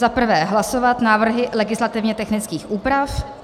Za prvé hlasovat návrhy legislativně technických úprav.